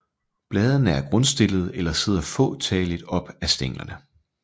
Bladene er grundstillede eller sidder få talligt op ad stænglerne